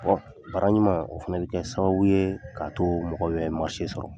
baara ɲuman, o fana bɛ kɛ sababu ye ka to mɔgɔ bɛ sɔrɔ.